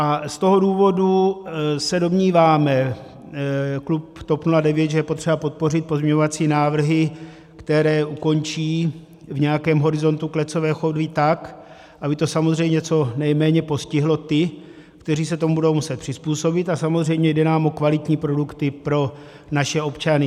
A z toho důvodu se domníváme, klub TOP 09, že je potřeba podpořit pozměňovací návrhy, které ukončí v nějakém horizontu klecové chovy tak, aby to samozřejmě co nejméně postihlo ty, kteří se tomu budou muset přizpůsobit, a samozřejmě jde nám o kvalitní produkty pro naše občany.